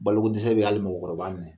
Balo ko dɛsɛ bɛ hali mɔgɔkɔrɔba minɛ.